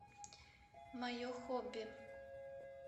мое хобби